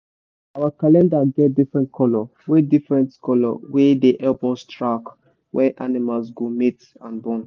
our calendar get different colour wey different colour wey de help us track when animals go mate and born.